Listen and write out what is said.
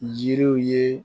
Jiriw ye